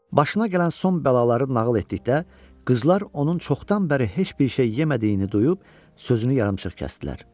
Başına gələn son bəlaları nağıl etdikdə, qızlar onun çoxdan bəri heç bir şey yemədiyini duyub sözünü yarımçıq kəsdilər.